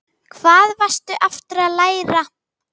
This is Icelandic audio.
Hvað varstu aftur að læra?